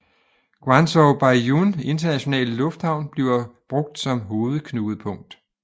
Guangzhou Baiyun Internationale Lufthavn bliver brugt som hovedknudepunkt